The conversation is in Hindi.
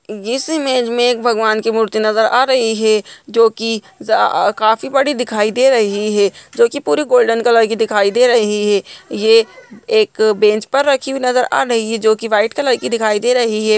इस इमेज में भगवान की मूर्ति नजर आ रही है जो की काफ़ी बड़ी दिखाई दे रही है जो की पूरी गोल्डन कलर की नजर आ रही है ये एक बेंच पर रखी नजर आ रही है जो की सफ़ेद कलर की है।